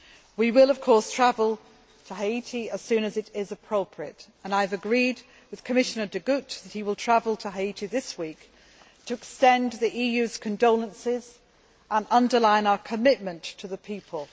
We will, of course, travel to Haiti as soon as it is appropriate, and I have agreed with Commissioner De Gucht that he will travel to Haiti this week to extend the EU's condolences and underline our commitment to the people.